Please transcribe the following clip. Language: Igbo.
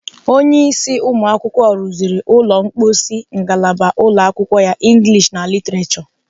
Onyeisi ụmụakwụkwọ rụziri ụlọ mkposi ngalaba ụlọakwụkwọ ya Inglish na Literature.